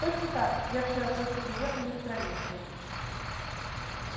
точно так-с я вчера только приехала из провинции